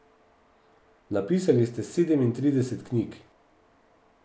Napisali ste sedemintrideset knjig.